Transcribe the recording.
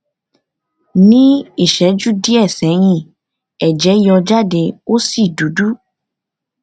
nih ìṣẹjú díẹ sẹyìn ẹjẹ yọ jade ó sì dúdú